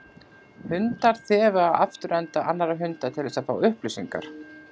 Hundar þefa af afturenda annarra hunda til þess að fá upplýsingar.